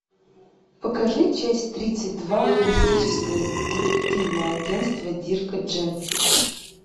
покажи часть тридцать два холистическое детективное агентство дирка джентли